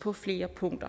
på flere punkter